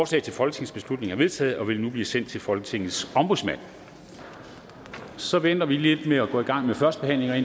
til folketingsbeslutning er enstemmigt vedtaget og vil nu blive sendt til folketingets ombudsmand så venter vi lidt med at gå i gang med førstebehandlingerne